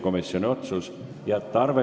Kohtumiseni homme kell 10!